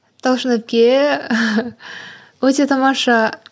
талшын әпке өте тамаша